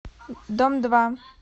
дом два